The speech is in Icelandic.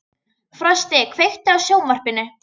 Frosti, kveiktu á sjónvarpinu.